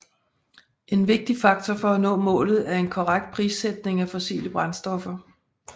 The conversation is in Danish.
En vigtig faktor for at nå målet er en korrekt prissætning af fossile brændstoffer